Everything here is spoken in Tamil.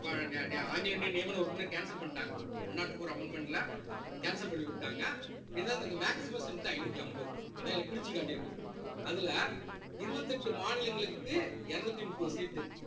இப்ப நிய~ நிய~ ஆங்கிலோ இந்தியன் நியமன உறுப்பினரை cancel பண்ணிட்டாங்க one nought four amendment ல cancel பண்ணி விட்டாங்க இருந்தாலும் நீங்க maximum strength உ ஐநூத்தி அம்பது அதான் இத பிரிச்சு காட்டியிருக்கும் அதுல இருபத்தி எட்டு மாநிலங்களுக்கு இருநூத்தி முப்பது seat உ